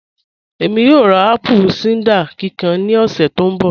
Ẹ̀mí yóò rá apple cider kíkàn ní ọ̀ṣẹ̀ tó nbọ̀